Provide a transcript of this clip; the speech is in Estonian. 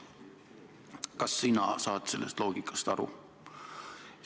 Kas sina saad sellest loogikast aru?